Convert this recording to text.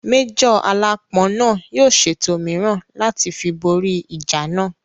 Májọ̀ aláápọn náà yóò ṣètò mìíràn láti fi bóri ìjà náà